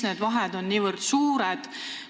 Miks on vahe niivõrd suur?